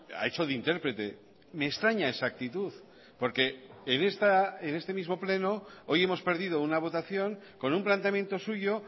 ha hecho de intérprete me extraña esa actitud porque en este mismo pleno hoy hemos perdido una votación con un planteamiento suyo